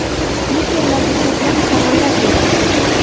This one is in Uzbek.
Spikerlarga ko‘plab savollar berildi.